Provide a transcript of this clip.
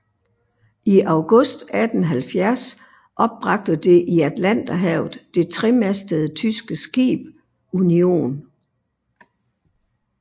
I august 1870 opbragte det i Atlanterhavet det tremastede tyske skib Union